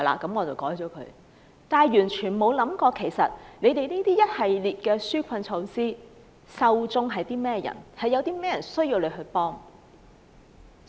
他們不曾想過現時一系列紓困措施的受眾是誰，以及有誰需要政府幫忙。